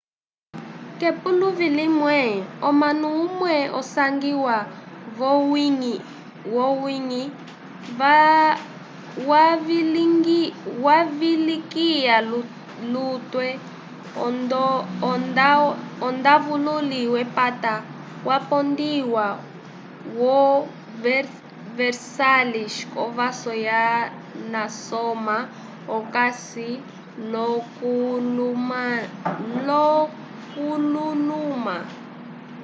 k'epuluvi limwe omunu umwe osangiwa v'owiñgi wavilikiya lutwe ondawululi wepata wapondiwa vo versalhes k'ovaso ya nasoma okasi l'okululuma